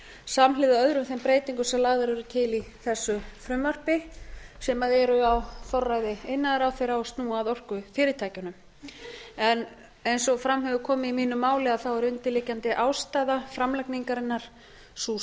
samhliða örum þeim breytingum sem lagðar eru til í þessu frumvarpi sem eru á forræði iðnaðarráðherra og snúa að orkufyrirtækjunum eins og fram hefur komið í mínu máli er undirliggjandi ástæða framlagningarinnar sú